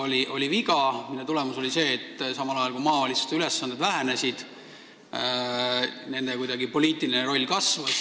See oli viga, mille tulemusena vähenesid maavalitsuste ülesanded, aga samal ajal kasvas nende poliitiline roll.